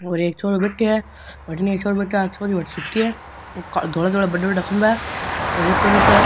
और एक छोरो बैठे है बठिने एक छोरो बेठो बा छोरी बठीने सूती है धोळां धोळा बड़ा बड़ा खम्भा है रेतो रेतो है।